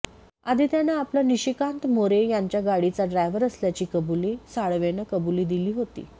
आधी त्यानं आपण निशिकांत मोरे यांच्या गाडीचा ड्रायव्हर असल्याची कबुली साळवेनं कबुली दिली होती